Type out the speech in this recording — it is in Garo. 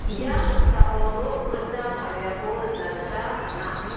ia noksao nok rikna tariako nikna gita man·a.